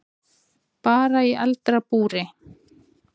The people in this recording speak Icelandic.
Bara í eldra búri.